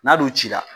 N'a dun cira